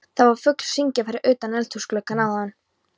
Það var fugl að syngja fyrir utan eldhúsgluggann áðan.